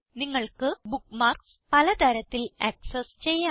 നിങ്ങൾക്ക് ബുക്ക്മാർക്സ് പലതരത്തിൽ ആക്സസ് ചെയ്യാം